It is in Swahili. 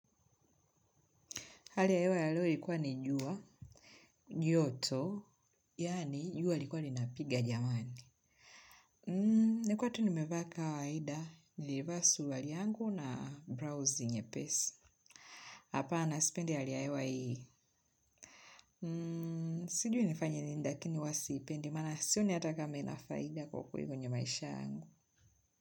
Hali ya hewa ya leo ilikuwa ni jua, joto, yaani jua likuwa lina piga jamani. Nakuwa tuni mevaa ka waida, niliva surwari yangu na brausi nye pesi. Hapa na sipende hali ya hewa hii. Sijui nifanye nini lakini huwa siipendi, mana sio ni hataka ma ina faida kwa kweli kwenye maisha yangu.